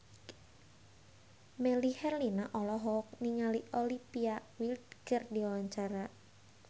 Melly Herlina olohok ningali Olivia Wilde keur diwawancara